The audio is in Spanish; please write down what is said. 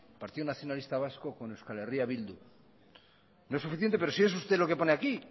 partido nacionalista vasco con eh bildu no es suficiente pero si es usted lo que pone aquí